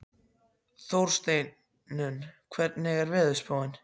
Þórsteinunn, hvernig er veðurspáin?